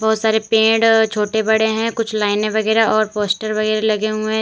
बहुत सारे पेड़ छोटे बड़े हैं कुछ लाइनें वगैरा और पोस्टर वगैरा लगे हुए हैं।